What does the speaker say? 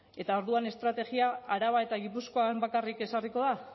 eta orduan estrategia araba eta gipuzkoan bakarrik ezarriko da